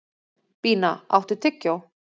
Bína, áttu tyggjó?